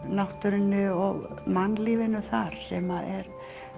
náttúrunni og mannlífinu þar sem er